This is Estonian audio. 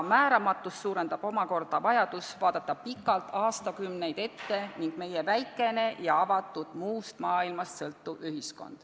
Määramatust suurendab vajadus vaadata pikalt, aastakümneid ette ning see, et meie ühiskond on väikene ja avatud ning muust maailmast sõltuv.